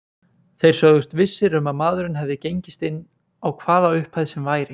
Þeir sögðust vissir um að maðurinn hefði gengist inn á hvaða upphæð sem væri.